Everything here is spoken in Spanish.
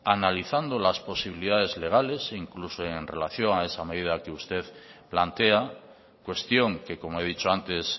analizando las posibilidades legales e incluso en relación a esa medida que usted plantea cuestión que como he dicho antes